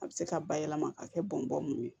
A bɛ se ka bayɛlɛma k'a kɛ bɔn bɔn mun ye